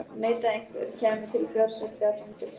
Neitaði einhver, kæmi til fjársekt eða fangelsi.